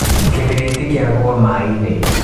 Gĩbiriti kĩagũa maĩ-inĩ.